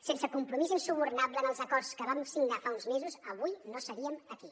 sense el compromís insubornable en els acords que vam signar fa uns mesos avui no seríem aquí